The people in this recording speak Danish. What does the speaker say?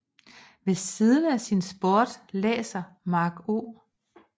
Ved siden af sin sport læser Mark O